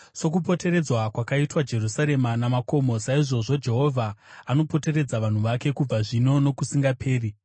Sokupoteredzwa kwakaitwa Jerusarema namakomo, saizvozvo Jehovha anopoteredza vanhu vake kubva zvino nokusingaperi.